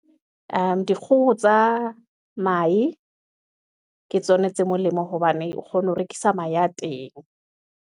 Ee dikgoho tsa mahe ke tsona tse molemo, hobane o kgona ho rekisa mahe a teng.